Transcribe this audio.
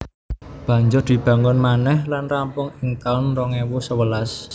Banjur dibangun manèh lan rampung ing taun rong ewu sewelas